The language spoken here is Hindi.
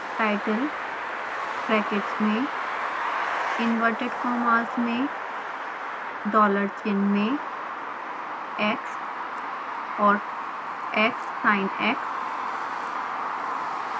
title ब्रैकेट्स में इंवर्टेड कॉमास में डॉलर चिन्ह में x और xsinx